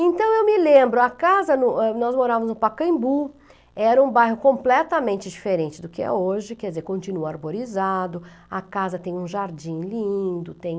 Então eu me lembro, a casa no, é , nós morávamos no Pacaembu, era um bairro completamente diferente do que é hoje, quer dizer, continua arborizado, a casa tem um jardim lindo, tem...